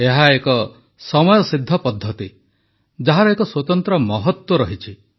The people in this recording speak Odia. ଏହା ଏକ ସମୟସିଦ୍ଧ ପଦ୍ଧତି ଯାହାର ଏକ ସ୍ୱତନ୍ତ୍ର ମହତ୍ୱ ରହିଛି